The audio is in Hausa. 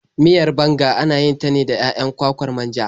Miyar banga ana yin ta da 'ya'yan kwakwar manja.